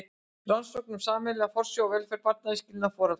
Rannsókn um sameiginlega forsjá og velferð barna við skilnað foreldra.